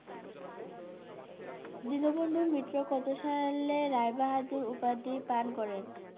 দীনবন্ধু মিত্র কত সালে রায়বাহাদুর উপাধি পান করেন?